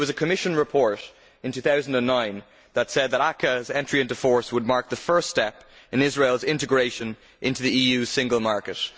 It was a Commission report in 2009 that said that the ACAA's entry into force would mark the first step in Israel's integration into the EU single market.